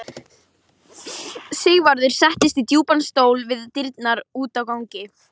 Sigvarður settist í djúpan stól við dyrnar út á ganginn.